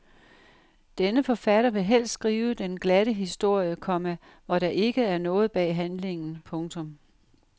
Denne forfatter vil helst skrive den glatte historie, komma hvor der ikke er noget bag handlingen. punktum